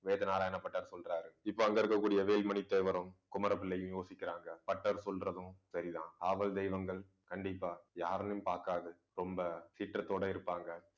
வேதநாராயண பட்டர் சொல்றாரு. இப்ப அங்க இருக்கக்கூடிய, வேலுமணி தேவரும் குமரபிள்ளையும் யோசிக்கிறாங்க பட்டர் சொல்றதும் சரிதான். காவல் தெய்வங்கள் கண்டிப்பா யாருன்னு பாக்காது. ரொம்ப சீற்றத்தோட இருப்பாங்க